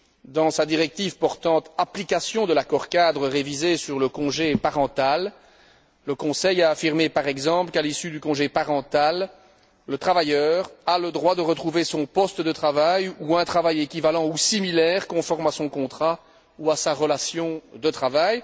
Dans sa directive portant application de l'accord cadre révisé sur le congé parental, le Conseil a affirmé par exemple qu'à l'issue du congé parental, le travailleur a le droit de retrouver son poste de travail, ou un travail équivalent ou similaire conforme à son contrat ou à sa relation de travail.